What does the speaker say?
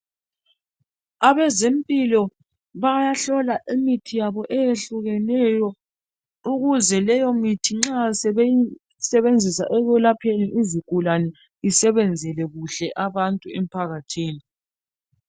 Abezempilo bayahlola imithi yabo eyehlukeneyo ukuze leyomithi nxa sebeyisebenzisa ekwelapheni izigulane isebenzele abantu kuhle emphakathini.